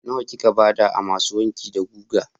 Nawa kika ba da a masu wanki da guga?